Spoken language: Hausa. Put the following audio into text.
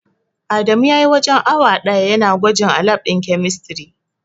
Adamu spent almost an hour testing at the chemistry lab.